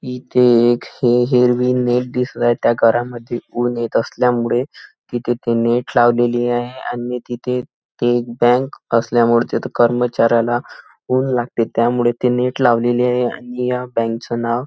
इथे एक हिरवे नेट दिसत आहे त्या घरामध्ये ऊन येत असल्यामुळे तिथे ते नेट लावलेली आहे आणि तिथे ते एक बँक तिथे कर्मचाऱ्याला ऊन लागते त्यामुळे ते नेट लावलेल आहे आणि या बँक च नाव --